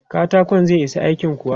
Katakon zai isa aikin kuwa?